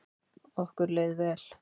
Okkur leið vel.